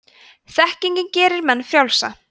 þekkingin gerir menn frjálsa